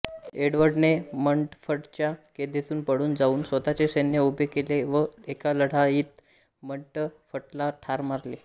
एडवर्डने मंटफटच्या कैदेतून पळून जाऊन स्वतःचे सैन्य उभे केले व एका लढाईत मंटफटला ठार मारले